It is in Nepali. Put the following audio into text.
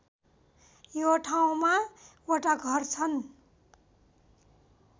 यो ठाउँमा वटा घर छन्